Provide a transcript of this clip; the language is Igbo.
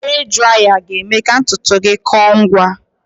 Hee draya ga-eme ka ntutu gị kọọ ngwa